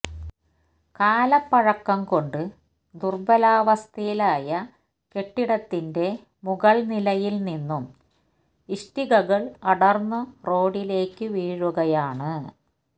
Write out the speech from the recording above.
കാലപ്പഴക്കം കൊണ്ട് ദുര്ബലാവസ്ഥയിലായ കെട്ടിടത്തിന്റെ മുകള് നിലയില് നിന്നും ഇഷ്ടികകള് അടര്ന്ന് റോഡിലേക്ക് വീഴുകയാണ്